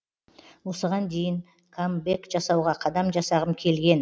осыған дейін камбэк жасауға қадам жасағым келген